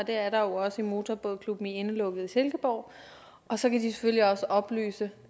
er der jo også i motorbådklubben i indelukket i silkeborg og så kan de selvfølgelig også oplyse